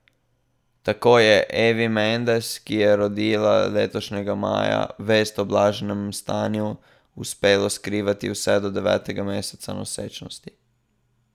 Tako je Evi Mendes, ki je rodila letošnjega maja, vest o blaženem stanju uspelo skrivati vse do devetega meseca nosečnosti.